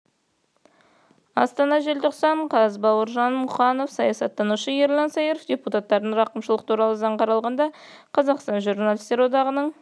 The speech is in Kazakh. астана желтоқсан қаз бауыржан мұқанов саясаттанушы ерлан сайыров депутаттардан рақымшылық туралы заң қаралғанда қазақстан журналистер одағының